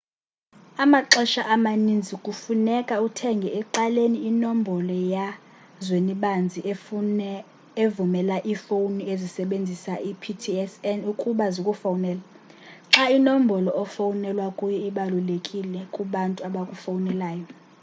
amaxesha amaninzi kufuneka uthenge ecaleni inombolo yazwenibanzi evumela iifowuni ezisebenzisa i-ptsn ukuba zikufowunele xa inombolo ofowunelwa kuyo ibalulekile kubantu abakufowunelayo